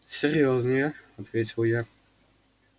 серьёзные ответил я